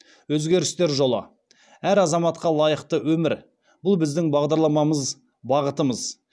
өзгерістер жолы әр азаматқа лайықты өмір бұл біздің бағдарламамыз бағытымыз